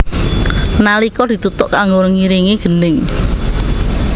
Nalika dituthuk kanggo ngiringi gendhing